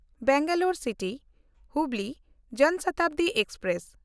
ᱵᱮᱝᱜᱟᱞᱳᱨ ᱥᱤᱴᱤ–ᱦᱩᱵᱞᱤ ᱡᱚᱱ ᱥᱚᱛᱟᱵᱫᱤ ᱮᱠᱥᱯᱨᱮᱥ